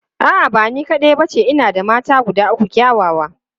A'a, ba ni kaɗai ba ce, ina da mata guda uku kyawawa.